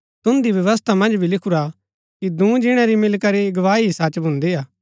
तुन्दी व्यवस्था मन्ज भी लिखुरा कि दूँ जिणै री मिलीकरी गवाही ही सच भून्दी हा